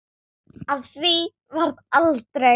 Af því varð aldrei.